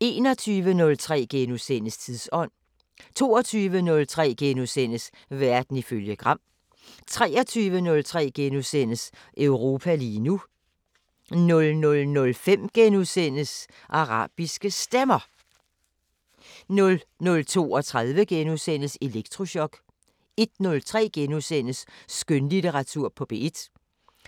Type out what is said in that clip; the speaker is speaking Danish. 21:03: Tidsånd * 22:03: Verden ifølge Gram * 23:03: Europa lige nu * 00:05: Arabiske Stemmer * 00:32: Elektrochok * 01:03: Skønlitteratur på P1